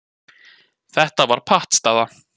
Þetta var pattstaða.